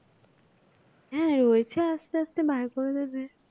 হ্যাঁ রয়েছে আস্তে আস্তে বার করে দেবে।